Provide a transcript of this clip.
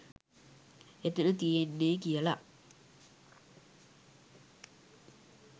එතන තියෙන්නේ කියල.